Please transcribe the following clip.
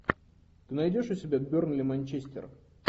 найдешь у себя бернли манчестер